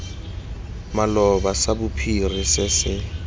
maloba sa bophiri se se